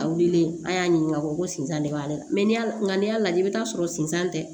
A wulilen an y'a ɲininka ko sinzan de b'a la mɛ n'i y'a nka n'i y'a lajɛ i bɛ t'a sɔrɔ sinsan tɛ